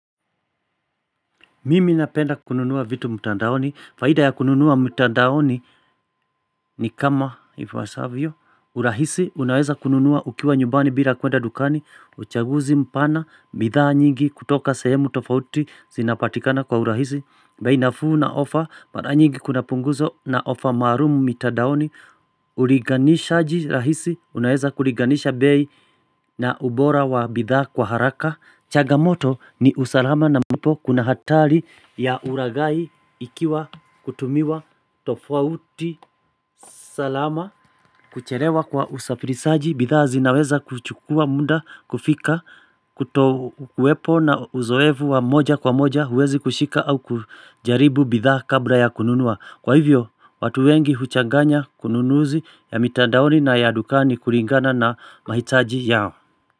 Mimi napenda kununua vitu mtandaoni. Faida ya kununua mtandaoni ni kama ifuasaavyo. Urahisi unaweza kununua ukiwa nyumbani bila kuenda dukani. Uchaguzi mpana. Bidhaa nyingi kutoka sehemu tofauti. Zinapatikana kwa urahisi. Bei nafuu na ofa. Mara nyingi kuna punguzo na ofa maalumu mitandaoni. Ulinganishaji rahisi unaweza kulinganisha bei na ubora wa bidhaa kwa haraka. Chagamoto ni usalama na ambapo kuna hatari ya uragai ikiwa hutumiwa tofauti salama Kucherewa kwa usafirisaji bithaa zinaweza kuchukua muda kufika Kutokuwepo na uzoevu wa moja kwa moja uwezi kushika au kujaribu bithaa kabla ya kununua Kwa hivyo watu wengi huchanganya ununuzi ya mitandaoni na ya dukani kuringana na mahitaji yao.